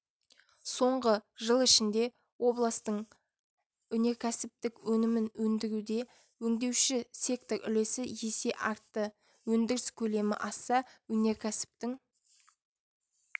соңғы жыл ішінде областың өнеркәсіптік өнімін өндіруде өңдеуші сектор үлесі есе артты өндіріс көлемі асса өнеркәсіптің